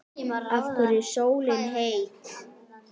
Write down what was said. Af hverju er sólin heit?